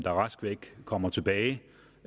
rask væk kommer tilbage